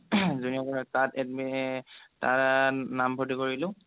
junior college তাত তাত নামভৰ্তি কৰিলো